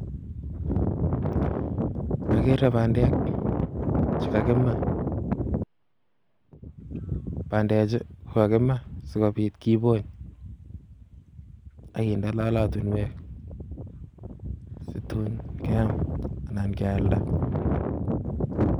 Ageere bandek Che kakimaa, bandechu kokakimaa sikobiit kibony ak kinde lolotinwek situn keam anan kealda